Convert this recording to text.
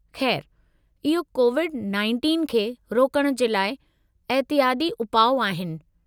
खै़रु, इहो कोविड-19 खे रोकण जे लाइ एहतियाती उपाउ आहिनि।